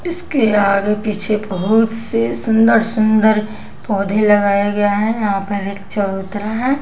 इसके आगे पीछे बहुत से सुंदर सुंदर पौधे लगाए गए हैं यहाँ पर चबूतरा है।